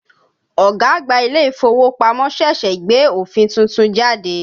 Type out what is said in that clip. Ọ̀gá àgbà ilé-ìfowópamọ́ ṣẹ̀ṣẹ̀ gbé òfin tuntun jáde